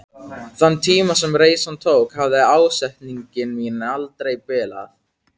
Þann tíma sem reisan tók hafði ásetningur minn aldrei bilað.